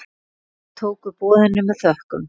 Þau tóku boðinu með þökkum.